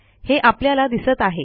हे आपल्याला दिसत आहे